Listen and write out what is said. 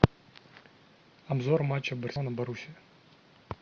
обзор матча барселона боруссия